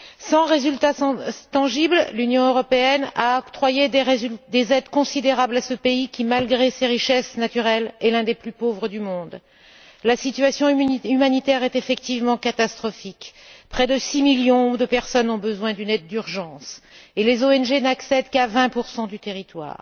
Sans résultats tangibles, l'Union européenne a octroyé des aides considérables à ce pays qui, malgré ses richesses naturelles, est l'un des plus pauvres au monde. La situation humanitaire est effectivement catastrophique près de six millions de personnes ont besoin d'une aide d'urgence et les ONG n'accèdent qu'à 20 du territoire.